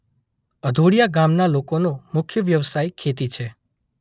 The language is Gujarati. અધોડીયા ગામના લોકોનો મુખ્ય વ્યવસાય ખેતી છે.